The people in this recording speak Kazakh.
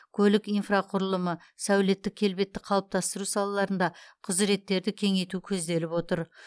көлік инфрақұрылымы сәулеттік келбетті қалыптастыру салаларында құзыреттерді кеңейту көзделіп отыр